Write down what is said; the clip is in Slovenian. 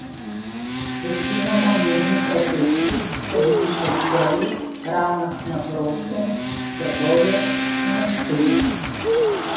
Večinoma mirni protesti so bili še v Celju, Ravnah na Koroškem, Trbovljah in na Ptuju.